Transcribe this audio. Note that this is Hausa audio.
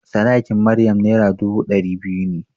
Sadakin Maryam Naira dubu ɗari biyu ne.